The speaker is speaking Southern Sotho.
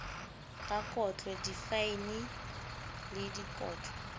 ka kotlo difaene le dikotlo